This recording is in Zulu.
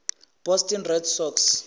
boston red sox